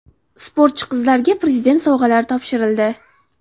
Sportchi qizlarga Prezident sovg‘alari topshirildi.